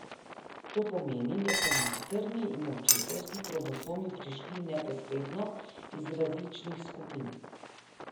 To pomeni, da so materni in očetovski kromosomi prišli neposredno iz različnih skupin.